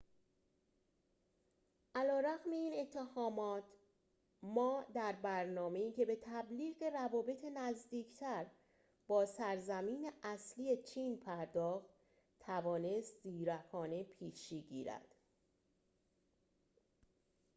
علی‌رغم این اتهامات ما در برنامه‌ای که به تبلیغ روابط نزدیکتر با سرزمین اصلی چین پرداخت توانست زیرکانه پیشی بگیرد